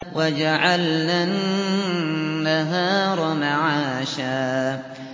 وَجَعَلْنَا النَّهَارَ مَعَاشًا